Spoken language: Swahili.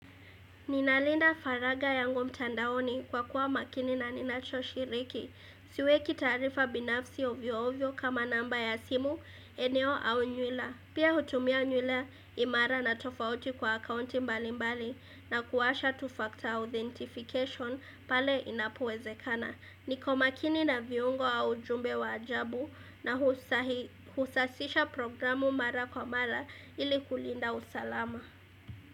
Ninalinda faragha yangu mtandaoni kwa kuwa makini na ninacho shiriki. Siweki taarifa binafsi ovyo ovyo kama namba ya simu, eneo au nywila. Pia hutumia nywila imara na tofauti kwa akaunti mbali mbali na kuwasha two factor authentication pale inapowezekana. Niko makini na viungo au ujumbe wa ajabu na husafisha programu mara kwa mara ili kulinda usalama.